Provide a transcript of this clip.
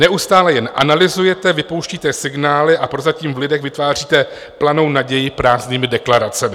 Neustále jen analyzujete, vypouštíte signály a prozatím v lidech vytváříte planou naději prázdnými deklaracemi.